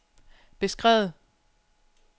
beskrevet